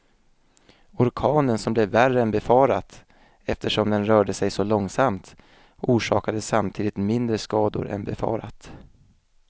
Orkanen som blev värre än befarat eftersom den rörde sig så långsamt, orsakade samtidigt mindre skador än befarat.